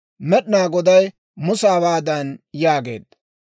Med'inaa Goday Musa hawaadan yaageedda,